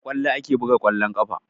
Da ƙwallo ake buga ƙwallon ƙafa